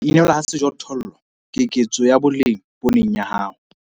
HO INELWA HA SEJOTHOLLO - keketso ya boleng pooneng ya hao